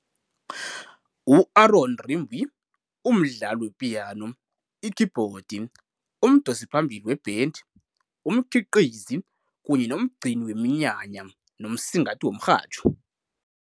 U-Aaron Rimbui ungumdlali wepiyano, ikhibhodi, umdosiphambili webhendi, umkhiqizi kanye nomgcini weminyanya nomsingathi womrhatjho.